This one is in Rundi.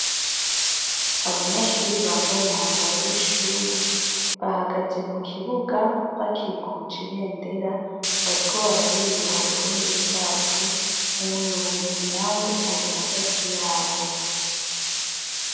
Abanyeshuri bambaye umwambaro w'ishuri bahagaze mu kibuga bakikuje ibendera bariko bararirimba uburundi bwacu, umuyobozi na we ari hagati yabo.